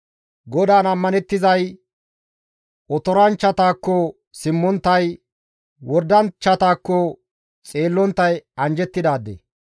GODAAN ammanettizay, otoranchchatakko simmonttay, wordanchchatakko xeellonttay anjjettidaade.